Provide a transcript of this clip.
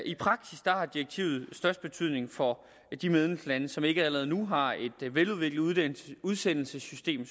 i praksis har direktivet størst betydning for de medlemslande som ikke allerede nu har et veludviklet udsendelsessystem